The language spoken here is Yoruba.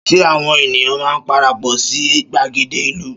Ṣé àwọn ènìyàn máa parapọ̀ sí gbàgede ìlú?